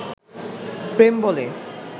প্রেম বলে